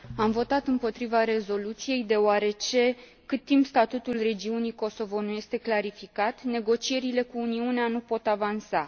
Am votat împotriva rezoluției deoarece, cât timp statutul regiunii Kosovo nu este clarificat, negocierile cu Uniunea nu pot avansa.